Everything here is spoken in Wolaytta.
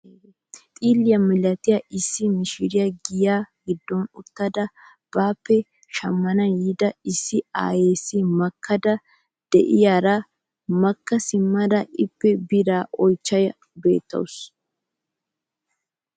Xilliyaa milatiyaa issi mishiriyaa giyaa giddon uttada baappe shammana yiida issi aayessi makkayda de'iyaara makka simmada ippe biraa oychchiyaara beettawus.